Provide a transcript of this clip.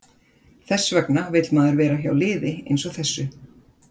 Þess vegna vill maður vera hjá liði eins og þessu.